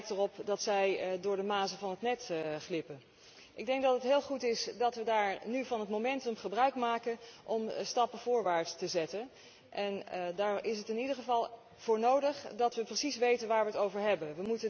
Het lijkt erop dat zij door de mazen van het net glippen. Ik denk dat het heel goed is dat wij nu van het momentum gebruikmaken om stappen voorwaarts te zetten en daar is in ieder geval voor nodig dat wij precies weten waar wij het over hebben.